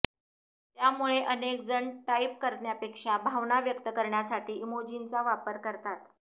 त्यामुळे अनेकजण टाईप करण्यापेक्षा भावना व्यक्त करण्यासाठी इमोजींचा वापर करतात